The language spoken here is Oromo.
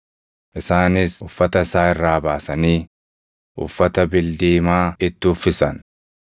Isaanis uffata isaa irraa baasanii uffata bildiimaa itti uffisan;